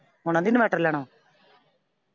ਹੁਣ ਆਂਹਦੀ inverter ਲੈਣਾ ਵਾਂ।